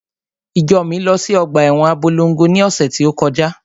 Ìjọ mi lọ sí ọgbà ẹwọn Abólongo ni ọ̀sẹ̀ tí ó.